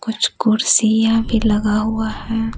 कुछ कुर्सियां भी लगा हुआ है।